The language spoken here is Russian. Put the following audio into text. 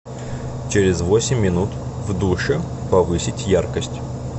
через восемь минут в душе повысить яркость